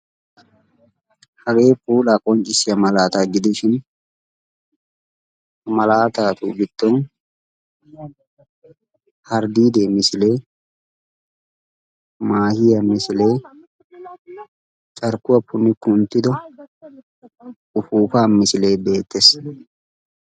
Hagee puula qonccissiya malatta gidisbin malatta cuccunttay hardidda misile maahiya misilee beetees.